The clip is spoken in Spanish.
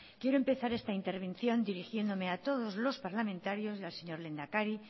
quiero empezar esta intervención dirigiéndome a todos los parlamentarios y al señor lehendakari